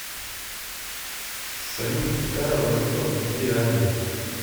салют какая валюта в гвиане